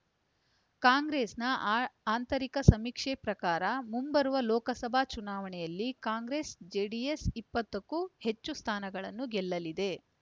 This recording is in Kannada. ಕಾಂಗ್ರೆಸ್‌ನ ಆ ಆಂತರಿಕ ಸಮೀಕ್ಷೆ ಪ್ರಕಾರ ಮುಂಬರುವ ಲೋಕಸಭಾ ಚುನಾವಣೆಯಲ್ಲಿ ಕಾಂಗ್ರೆಸ್ ಜೆಡಿಎಸ್ ಇಪ್ಪತ್ತಕ್ಕೂ ಹೆಚ್ಚು ಸ್ಥಾನಗಳನ್ನು ಗೆಲ್ಲಲಿದೆ